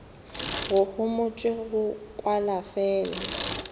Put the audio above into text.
go homotšwe go kwala fela